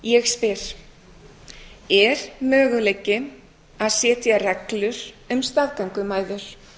ég spyr er möguleiki að setja reglur um staðgöngumæður